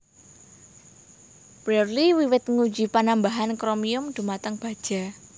Brearley wiwit nguji panambahan kromium dhumateng baja